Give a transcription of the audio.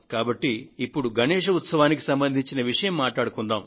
కాబట్టి ఇప్పుడు గణేశ్ ఉత్సవానికి సంబంధించిన విషయం మాట్లాడుకుందాము